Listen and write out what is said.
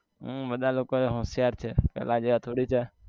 હમ બધાં લોકો હોશિયાર છે પેલા જેવા થોડી છે